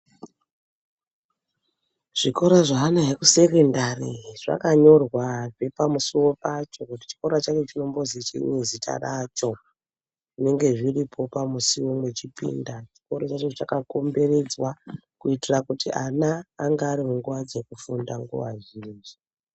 Zvikora zveana ekusekondari zvakanyorwazve pamusuwo pacho kuti chikora chachona chinombozwi anani zita racho. Zvinenge zviripo pamusuwo mwechipinda. Chikora chacho chakakomberedzwa kuitira kuti ana ange ari munguwa dzekufunda nguwa zhinji.